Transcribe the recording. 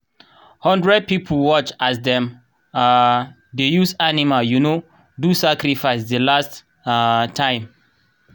hundred people watch as dem um dey use animal um do sacrifice the last um time